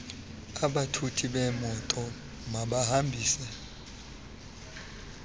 abathuthi bemoto bahambise